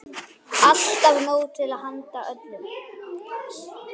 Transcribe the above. Alltaf nóg til handa öllum.